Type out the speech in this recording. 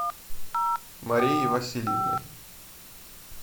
марией васильевной